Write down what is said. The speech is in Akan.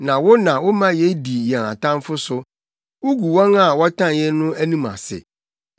na wo na woma yedi yɛn atamfo so wugu wɔn a wɔtan yɛn no anim ase.